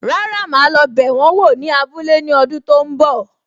Rárá, ma lo bẹ wọn wò ní abúlé ní ọdún tó ń bọ̀.